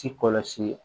Ci kɔlɔsi